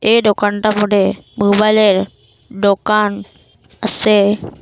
এই ডোকানটার মোড্যে মোবাইলের দোকান আছে।